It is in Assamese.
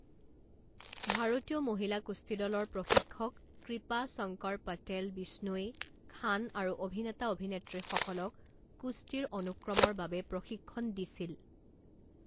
ভাৰতীয় মহিলা কুস্তি দলৰ প্ৰশিক্ষক কৃপা শংকৰ পটেল বিষ্ণোই খান আৰু অভিনেতা অভিনেত্ৰীসকলক কুস্তিৰ অনুক্ৰমৰ বাবে প্ৰশিক্ষণ দিছিল।